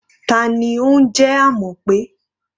Ta ni ó ń jẹ́ Amope?